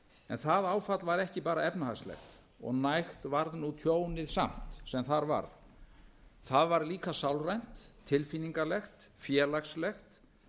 en það áfall var ekki bara efnahagslegt og nægt var nú tjónið samt sem þar varð það var líka sálrænt tilfinningalegt félagslegt